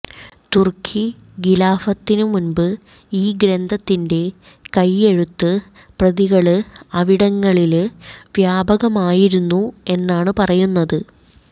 തുര്ക്കി ഖിലാഫത്തിനു മുമ്പ് ഈ ഗ്രന്ഥത്തിന്റെ കൈയെഴുത്ത് പ്രതികള് അവിടങ്ങളില് വ്യാപകമായിരുന്നു എന്നാണ് പറയുന്നത്